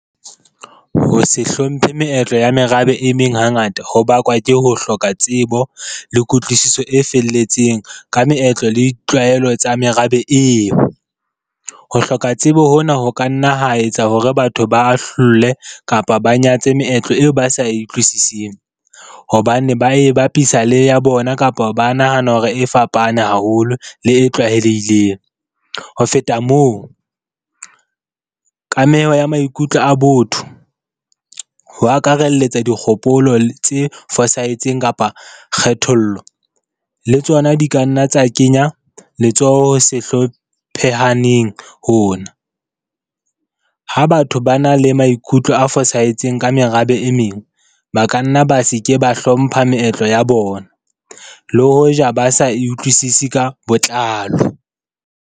Ho se hlomphe meetlo ya merabe e meng hangata ho bakwa ke ho hloka tsebo le kutlwisiso e felletseng ka meetlo le ditlwaelo tsa merabe eo. Ho hloka tsebo hona ho ka nna ho etsa hore batho ba ahlole kapa ba nyatse meetlo eo ba sa e utlwisising, hobane ba e bapisa le ya bona kapa ba nahana hore e fapane haholo le e tlwaelehileng. Ho feta moo, kameho ya maikutlo a botho, ho akaralletsa dikgopolo tse fosahetseng kapa kgethollo le tsona di ka nna tsa kenya letsoho se hlophehaneng hona. Ha batho ba na le maikutlo a fosahetseng ka merabe e meng, ba kanna ba se ke ba hlompha meetlo ya bona le hoja ba sa e utlwisise ka botlalo.